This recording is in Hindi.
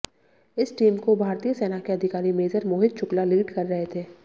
इस टीम को भारतीय सेना के अधिकारी मेजर मोहित शुक्ला लीड कर रहे थे